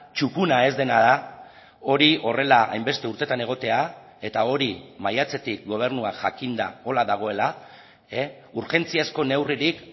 txukuna ez dena da hori horrela hainbeste urtetan egotea eta hori maiatzetik gobernuak jakinda horrela dagoela urgentziazko neurririk